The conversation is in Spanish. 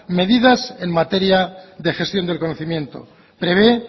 medidas en materia de gestión del conocimiento prevé